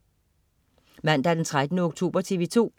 Mandag den 13. oktober - TV 2: